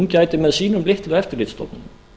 gæti með sínum litlu eftirlitsstofnunum